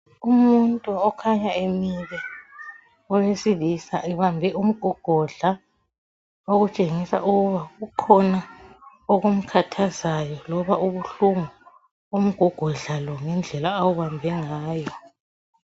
Umuntu okhanya emile owesilisa ebambe umgogodla okutshengisa ukuba kukhona okumkhathazayo loba ubuhlungu umgogodla lo ngendlela awubambe ngayo.